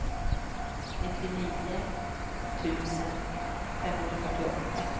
nittionio tusen femhundrafyrtioåtta